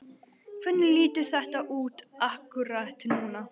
Hvernig lítur þetta út akkúrat núna?